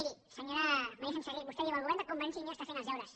miri senyora maria senserrich vostè diu el govern de convergència i unió està fent els deures